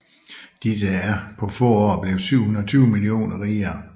Disse er på få år blevet 720 millioner rigere